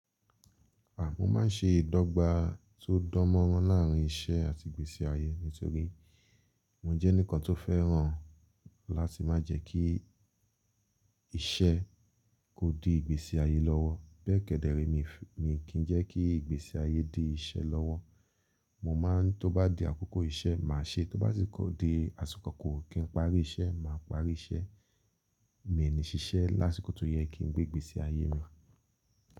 À, mo máa ń ṣe ìdọ́gba tó dán mọ́rán láàrín iṣẹ́ àti ìgbésí ayé nitorí mo jẹ́ enikan tó fẹ́ràn láti má jẹ kí iṣẹ́ kó di ìgbésí ayé lọ́wọ́ bẹ́ẹ̀ kẹ́dẹ̀re mi kì í jẹ́ kí ìgbésí ayé di iṣẹ́ lọ́wọ́. Mo má a ń tó bá di àkókò iṣẹ́ màá ṣe, tó bá sì kó di àsìkò kí n parí iṣẹ́, màá parí iṣẹ́. Mi nì ṣiṣẹ́ lásìkò tó yẹ kí n gbé ìgbésí ayé mi.